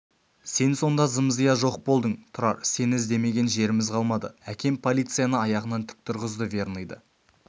сен сонда зым-зия жоқ болдың тұрар сені іздемеген жеріміз қалмады әкем полицияны аяғынан тік тұрғызды верныйды